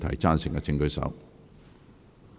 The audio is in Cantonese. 贊成的請舉手。